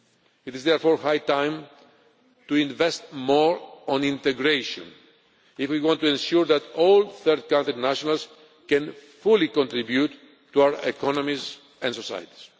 It is therefore high time to investment more on integration if we want to ensure that all third country nationals can fully contribute to our economies and societies.